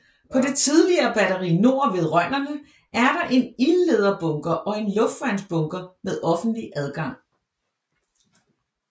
På det tidligere Batteri Nord ved Rønnerne er der en ildlederbunker og en luftværnsbunker med offentlig adgang